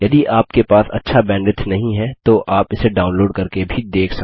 यदि आपके पास अच्छा बैंडविड्थ नहीं है तो आप इसे डाउनलोड़ करके भी देख सकते हैं